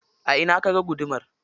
A ina kaga gudumar?